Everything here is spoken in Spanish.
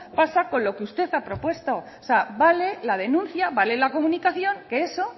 pasa con lo que usted ha propuesto o sea vale la denuncia vale la comunicación que eso